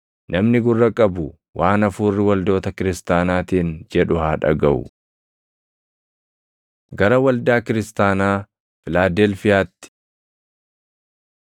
Namni gurra qabu waan Hafuurri waldoota kiristaanaatiin jedhu haa dhagaʼu. Gara Waldaa Kiristaanaa Filaadelfiyaatti